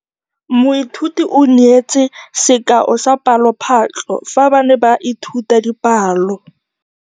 Moithuti o neetse sekaô sa palophatlo fa ba ne ba ithuta dipalo.